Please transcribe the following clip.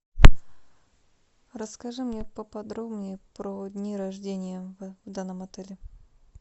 расскажи мне поподробней про дни рождения в данном отеле